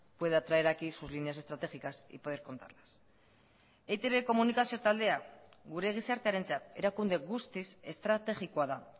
pueda traer aquí sus líneas estratégicas y poder contarlas eitb komunikazio taldea gure gizartearentzat erakunde guztiz estrategikoa da